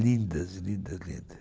lindas, lindas, lindas.